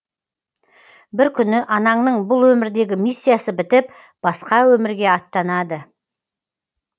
бір күні анаңның бұл өмірдегі миссиясы бітіп басқа өмірге аттанады